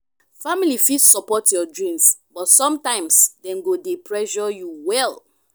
family fit support your dreams but sometimes dem go dey pressure you well.